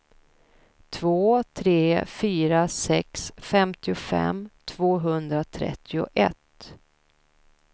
två tre fyra sex femtiofem tvåhundratrettioett